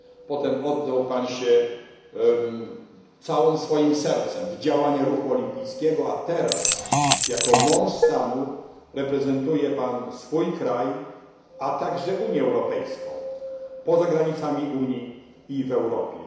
Potem oddał się Pan całym swoim sercem działalności w ruchu olimpijskim, a teraz, jako mąż stanu, reprezentuje Pan swój kraj, a także Unię Europejską, poza granicami Unii i w Europie.